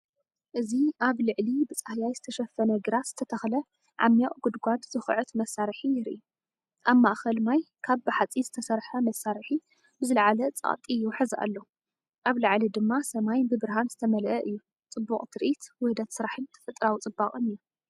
እዚ ኣብ ልዕሊ ብጻህያይ ዝተሸፈነ ግራት ዝተተኽለ ዓሚቕ ጉድጓድ ዝኹዕት መሳርሒ የርኢ። ኣብ ማእከል ማይ ካብ ብሓጺን ዝተሰርሐ መሳርሒ ብዝለዓለ ጸቕጢ ይውሕዝ ኣሎ፡ ኣብ ላዕሊ ድማ ሰማይ ብብርሃን ዝተመልአ እዩ። ጽቡቕ ትርኢት፡ውህደት ስራሕን ተፈጥሮኣዊ ጽባቐን እዩ።